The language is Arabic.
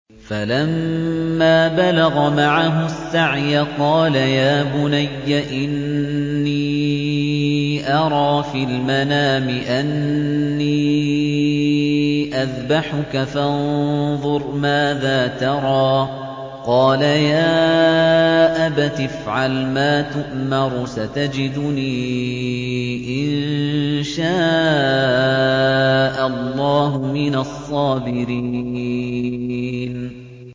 فَلَمَّا بَلَغَ مَعَهُ السَّعْيَ قَالَ يَا بُنَيَّ إِنِّي أَرَىٰ فِي الْمَنَامِ أَنِّي أَذْبَحُكَ فَانظُرْ مَاذَا تَرَىٰ ۚ قَالَ يَا أَبَتِ افْعَلْ مَا تُؤْمَرُ ۖ سَتَجِدُنِي إِن شَاءَ اللَّهُ مِنَ الصَّابِرِينَ